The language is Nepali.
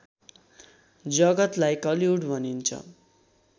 जगतलाई कलि‌‌‍उड भनिन्छ